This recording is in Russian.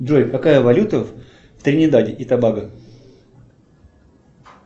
джой какая валюта в тринидаде и тобаго